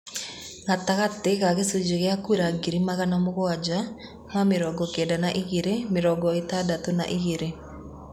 Gatagatĩ ga gĩcunjĩ gĩa kura ngiri magana mũgwanja ma mĩrongo Kenda na igĩrĩ, mĩrongo ĩtandatũna igĩrĩ